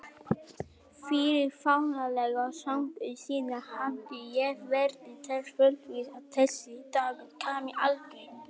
Fyrir fáránlega skömmu síðan hafði ég verið þess fullviss að þessi dagur kæmi aldrei.